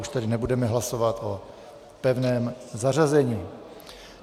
Už tedy nebudeme hlasovat o pevném zařazení.